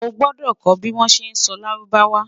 o gbọdọ kò bi wọn ṣẹ sọ lárúbáwá